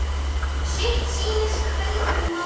Sitt sýnist hverjum um málið.